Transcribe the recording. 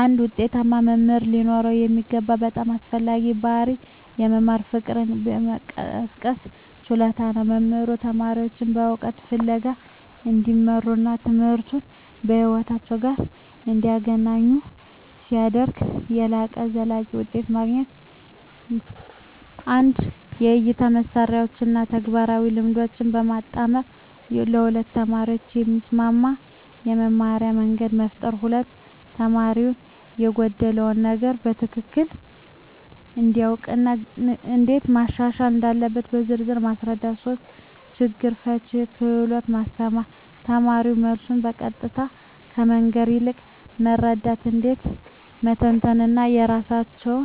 አንድ ውጤታማ መምህር ሊኖረው የሚገባው በጣም አስፈላጊው ባሕርይ የመማር ፍቅርን የመቀስቀስ ችሎታ ነው። መምህሩ ተማሪዎቹን በእውቀት ፍለጋ እንዲመሩና ትምህርቱን ከሕይወታቸው ጋር እንዲያገናኙ ሲያደርግ፣ የላቀና ዘላቂ ውጤት ማግኘት ይቻላል። 1) የእይታ ማሳያዎችን እና ተግባራዊ ልምምዶችን በማጣመር ለሁሉም ተማሪዎች የሚስማማ የመማርያ መንገድ መፍጠር። 2)ተማሪው የጎደለውን ነገር በትክክል እንዲያውቅ እና እንዴት ማሻሻል እንዳለበት በዝርዝር ማስረዳት። 3)ችግር ፈቺ ክህሎቶችን ማስተማር: ተማሪዎች መልሱን በቀጥታ ከመንገር ይልቅ መረጃን እንዴት መተንተን እና በራሳቸው